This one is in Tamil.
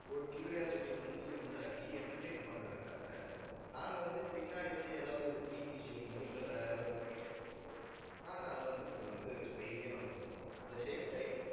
ஒரு curiosity வந்து உண்டாக்கி entertain பண்றதுக்காக நாங்க வந்து, பின்னாடி வந்து, ஏதாவது ஒரு BGM மோ இல்ல வேற எதாவது BGM போட்டு நாங்க அதை வந்து, கொஞ்சம் வந்து, spicy ஆ வந்து, கொண்டு போவோம். at the same time